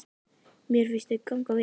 Mér finnst þau ganga vel.